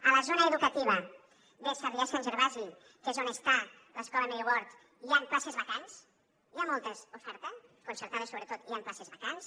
a la zona educativa de sarrià sant gervasi que és on està l’escola mary ward hi han places vacants hi ha molta oferta concertada sobretot i hi han places vacants